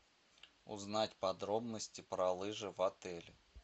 узнать подробности про лыжи в отеле